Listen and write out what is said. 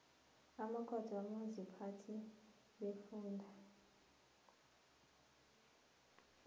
amakhotho wabomaziphathe beemfunda